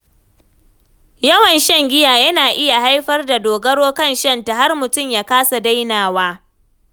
Yawan shan giya yana iya haifar da dogaro kan shanta, har mutum ya kasa dainawa.